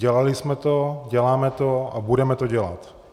Dělali jsme to, děláme to a budeme to dělat.